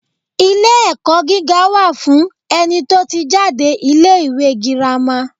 Ilé-ẹ̀kọ́ gíga wà fún ẹni tó ti jáde ilé-ìwé girama.